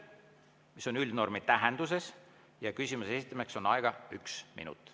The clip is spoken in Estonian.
See on üldnormi tähenduses ja on küsimuse esitamiseks aega üks minut.